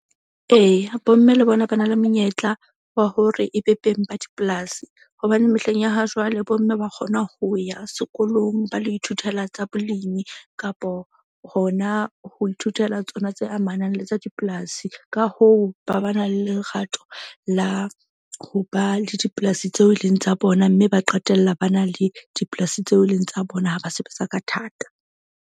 Eya, bomme le bona ba na le monyetla wa hore e be beng ba dipolasi. Hobane mehleng ya ha jwale bomme ba kgona ho ya sekolong. Ba lo ithutela tsa bolimi kapo hona ho ithutela tsona tse amanang le tsa dipolasi. Ka hoo, ba ba na le lerato la ho ba le dipolasi tseo e leng tsa bona. Mme ba qetella ba na le dipolasi tseo e leng tsa bona ha ba sebetsa ka thata.